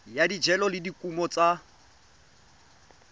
ya dijalo le dikumo tsa